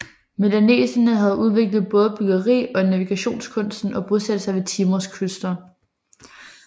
Melaneserne havde udviklet bådebyggeri og navigationskunsten og bosatte sig ved Timors kyster